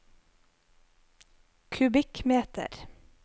kubikkmeter